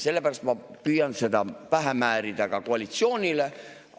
Sellepärast ma püüan seda pähe määrida ka koalitsioonile.